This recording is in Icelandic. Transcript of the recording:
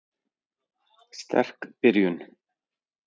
Sterk byrjun.